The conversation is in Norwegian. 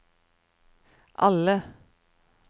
alle